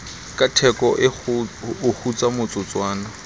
ka theko o kgutsa motsotswana